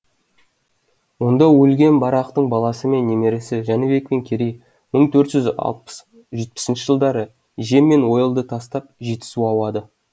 онда өлген барақтың баласы мен немересі жәнібек пен керей мың төрт жүз алпыс жетпісінші жылдары жем мен ойылды тастап жетісу ауады